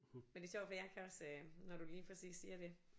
Men det er sjovt fordi jeg kan også øh når du lige præcis siger det